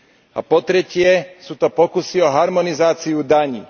A po tretie, sú to pokusy o harmonizáciu daní.